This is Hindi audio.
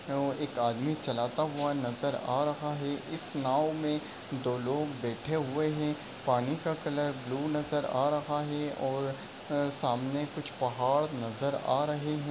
एक आदमी चलाता हुआ नजर आ रहा है। इस नाव में दो लोग बेठे हुए हैं। पानी का कलर ब्लू नजर आ रहा है और अ सामने कुछ पहाड़ नजर आ रहे हैं।